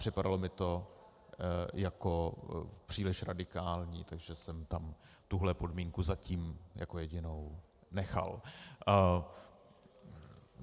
Připadalo mi to jako příliš radikální, takže jsem tam tuhle podmínku zatím jako jedinou nechal.